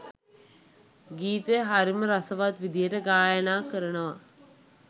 ගීතය හරිම රසවත් විදිහට ගායනා කරනවා